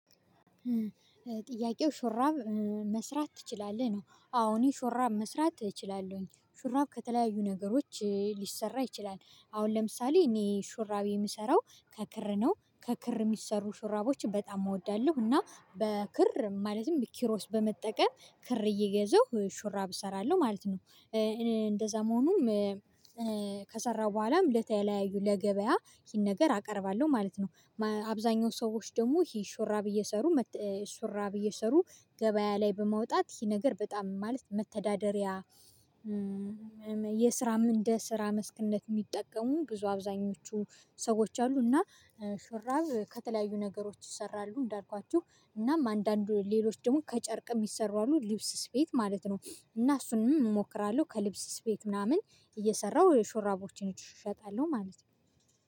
ጥያቄው "ሾራብ መስራት ትችላለህ?" ነው። አዎ እኔ ሾራብ መስራት እችላለሁኝ። ሾራብ ከተለያዩ ነገሮች ሊሰራ ይችላል። አሁን ለምሳሌ እኔ ሹራብ የምሰራው ከክር ነው። ከክር የሚሰሩ ሹራቦች በጣም እወዳለሁ እና በክር ማለትም ኪሮስ በመጠቀም ክር እየገዛሁ ሹራብ እሰራለሁ ማለት ነው። እኔ እንደዛ መሆኑም ከሰራሁ በኋላም ለተለያዩ ለገበያ ይህን ነገር አቀርባለሁ ማለት ነው። አብዛኛው ሰዎች ደግሞ ይሄ ሹራብ እየሰሩ ሹራብ እየሰሩ ገበያ ላይ በማውጣት ይሄ ነገር በጣም ማለት መተዳደሪያ የስራም እንደ ስራ መስክነት የሚጠቀሙ ብዙ አብዛኞቹ ሰዎች አሉ እና ሹራብ ከተለያዩ ነገሮች ይሰራሉ እንዳልኳችሁ እናም አንዳንዱ ሌሎች ደግሞ ከጨርቅም ሚሰሩ አሉ ልብስ ስፌት ማለት ነው፤ እና እሱንም እሞክራለሁ ከሊብስ ስፌት ምናምን እየሰራሁ ሹራቦችን እሸጣለሁ ማለት ነው።